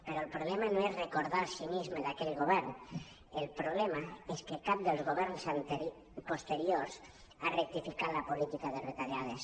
però el problema no és recordar el cinisme d’aquell govern el problema és que cap dels governs posteriors ha rectificat la política de retallades